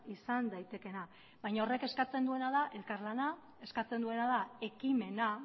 izan daitekeena baina horrek eskatzen duena da elkarlana eskatzen duena da ekimena